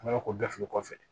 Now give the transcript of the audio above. An bɛ k'o bɛɛ feere kɔfɛ